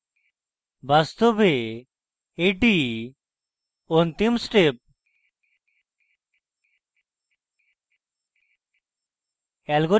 বাস্তবে এটি অন্তিম step